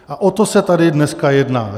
A o to se tady dneska jedná.